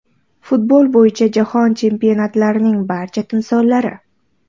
Futbol bo‘yicha Jahon Chempionatlarining barcha timsollari .